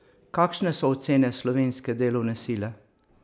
Kakšne so ocene slovenske delovne sile?